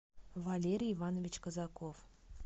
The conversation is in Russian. валерий иванович казаков